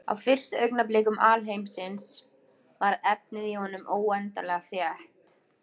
Á fyrstu augnablikum alheimsins var efnið í honum óendanlega þétt.